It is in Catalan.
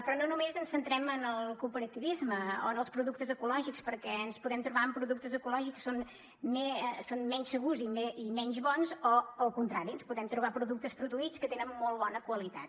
però no només ens centrem en el cooperativisme o en els productes ecològics perquè ens podem trobar amb productes ecològics que són menys segurs i menys bons o al contrari ens podem trobar productes produïts que tenen molt bona qualitat